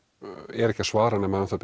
er ekki að svara nema